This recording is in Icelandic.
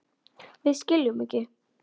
Við skiljum ekki.